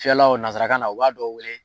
Fiyɛlaw nanzarakan na u b'a dɔ wele